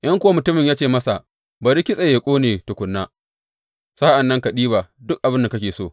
In kuwa mutumin ya ce masa, Bari kitse yă ƙone tukuna, sa’an nan ka ɗiba duk abin da kake so.